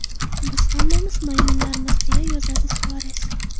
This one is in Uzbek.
Biz hammamiz maymunlarmiz”, deya yozadi Suares.